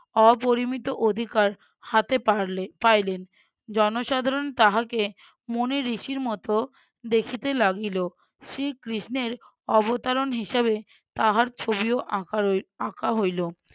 অপরিমিত অধিকার হাতে পারলে~ পাইলেন। জনসাধারণ তাহাকে মুনি ঋষির মতো দেখিতে লাগিল শ্রী কৃষ্ণের অবতারণ হিসেবে তাহার ছবিও আঁকা রোহি~ আঁকা হইলো